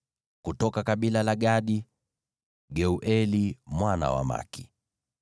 kutoka kabila la Gadi, Geueli mwana wa Maki.